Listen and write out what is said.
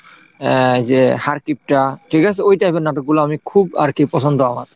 আহ যে হাড়কিপ্টা ঠিক আছে, ওই type এর নাটক গুলো আমি খুব আরকি পছন্দ আমার।